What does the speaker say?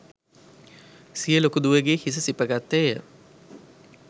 සිය ලොකු දුවගේ හිස සිප ගත්තේය